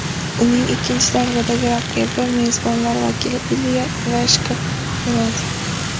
Uning ikkinchi davradagi raqibi mezbonlar vakili Ilya Ivashka bo‘ladi.